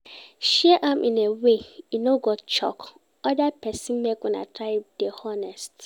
Share am in a way e no go choke other persin, make Una try de honest